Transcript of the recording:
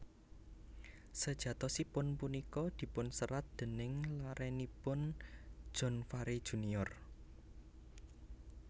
Sejatosipun punika dipunserat déning larenipun John Farey Junior